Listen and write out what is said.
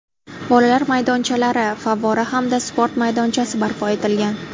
Bolalar maydonchalari, favvora hamda sport maydonchasi barpo etilgan.